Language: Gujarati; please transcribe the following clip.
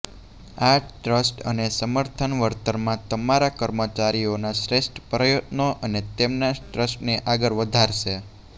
આ ટ્રસ્ટ અને સમર્થન વળતરમાં તમારા કર્મચારીઓના શ્રેષ્ઠ પ્રયત્નો અને તેમના ટ્રસ્ટને આગળ વધારશે